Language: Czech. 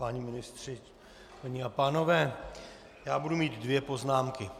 Páni ministři, paní a pánové, já budu mít dvě poznámky.